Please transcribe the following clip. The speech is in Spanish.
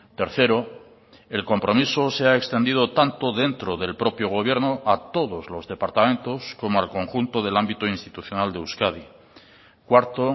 tercero el compromiso se ha extendido tanto dentro del propio gobierno a todos los departamentos como al conjunto del ámbito institucional de euskadi cuarto